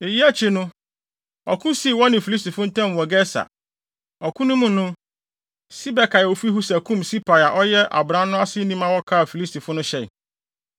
Eyi akyi, ɔko sii wɔne Filistifo ntam wɔ Geser. Ɔko no mu no, Sibekai a ofi Husa kum Sipai a ɔyɛ abran no aseni ma wɔkaa Filistifo no hyɛe.